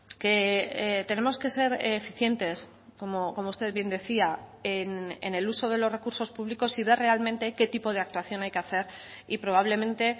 que tenemos que ser eficientes como usted bien decía en el uso de los recursos públicos si ve realmente qué tipo de actuación hay que hacer y probablemente